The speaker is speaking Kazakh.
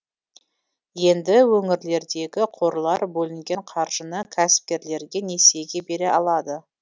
енді өңірлердегі қорлар бөлінген қаржыны кәсіпкерлерге несиеге бере алады